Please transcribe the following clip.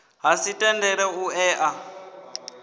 ha si tendele u ea